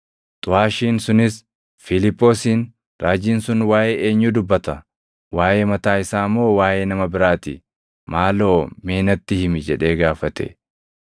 Xuʼaashiin sunis Fiiliphoosiin, “Raajiin sun waaʼee eenyuu dubbata? Waaʼee mataa isaa moo waaʼee nama biraa ti? Maaloo mee natti himi!” jedhee gaafate.